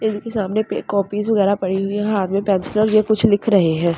Table के सामने पे कॉपीस वगैरा पड़ी हुई है हाथ में पेंसिल यह कुछ लिख रहे हैं।